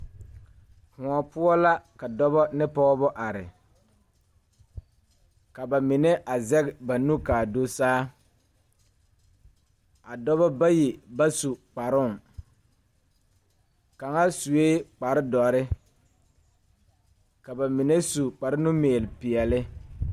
Kõɔ poɔ la ka dɔbɔ ne pɔɔbɔ are ka ba mine a zege ba nu kaa do saa a dɔbɔ bayi ba su kparoo kaŋa suee kparedɔre ka ba mine su kparenumiilpeɛle.